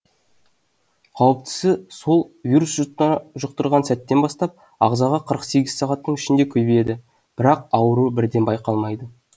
қауіптісі сол вирус жұқтырған сәттен бастап ағзада қырық сегіз сағаттың ішінде көбейеді бірақ ауру бірден байқалмайды